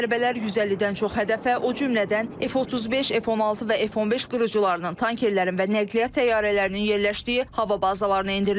Zərbələr 150-dən çox hədəfə, o cümlədən F35, F16 və F15 qırıcılarının, tankerlərin və nəqliyyat təyyarələrinin yerləşdiyi hava bazalarına endirilib.